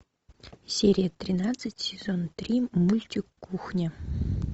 серия тринадцать сезон три мультик кухня